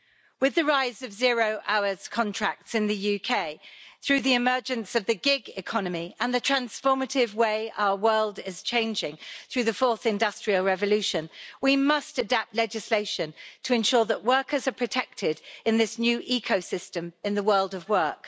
With the rise of zero-hour contracts in the UK, through the emergence of the gig economy, and the transformative way our world is changing through the fourth industrial revolution, we must adapt legislation to ensure that workers are protected in this new ecosystem in the world of work.